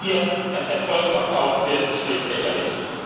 Was hier als Erfolg verkauft wird, ist schlicht lächerlich!